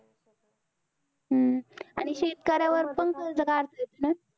हम्म आणि शेतकऱ्यावर कर्ज काढत्यात ना?